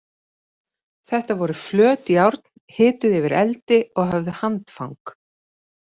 Þetta voru flöt járn, hituð yfir eldi og höfðu handfang.